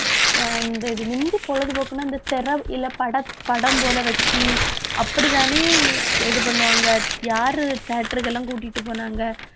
அஹ் இந்த இது முந்தி பொழுதுபோக்குன்னா இந்த திரல் இல்லை படத்~ படம் போல வச்சு அப்படித்தானே இது பண்ணுவாங்க யாரு theatre க்கெல்லாம் கூட்டிட்டு போனாங்க